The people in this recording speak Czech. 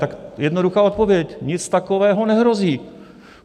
Tak jednoduchá odpověď: Nic takového nehrozí.